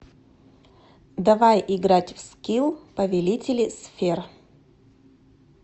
давай играть в скил повелители сфер